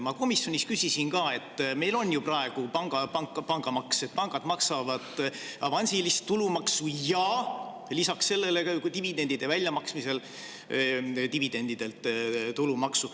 Ma komisjonis küsisin ka, et meil on ju praegu pangamaks: pangad maksavad avansilist tulumaksu ja lisaks sellele ka dividendide väljamaksmisel dividendidelt tulumaksu.